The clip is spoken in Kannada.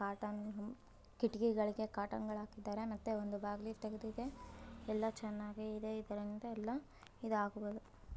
ಬಾದಾಮಿ ಕಿಟಕಿಗಳಿಗೆ ಕರ್ಟನ್ಗಳನ್ನ ಹಾಕಲಾಗಿದೆ ಮತ್ತೆ ಒಂದು ಬಾಗಿಲು ತೆಗೆದಿದೆ ಇದು ತುಂಬಾ ಚೆನ್ನಾಗಿದೆ